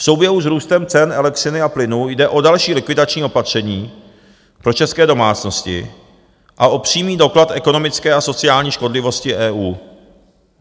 V souběhu s růstem cen elektřiny a plynu jde o další likvidační opatření pro české domácnosti a o přímý doklad ekonomické a sociální škodlivosti EU.